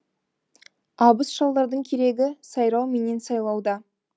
абыз шалдардың керегі сайрау менен сайлауда